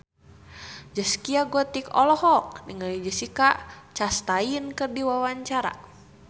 Zaskia Gotik olohok ningali Jessica Chastain keur diwawancara